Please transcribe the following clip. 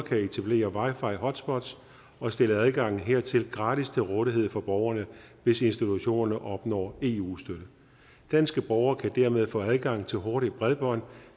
kan etablere wi fi hotspots og stille adgangen hertil gratis til rådighed for borgerne hvis institutionerne opnår eu støtte danske borgere kan dermed få adgang til hurtigt bredbånd